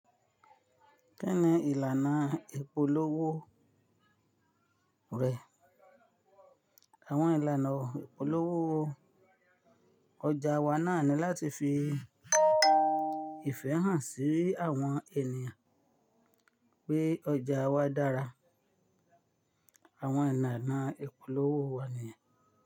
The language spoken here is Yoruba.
Kí ni ìlànà ìpolówó rẹ? Àwọn ìlànà ìpolówó ọjà wa náà ni láti fi ìfẹ́ hàn sí àwọn ènìyàn pé ọjà wa dára. Àwọn ìlànà ìpolówó wa nìyẹn.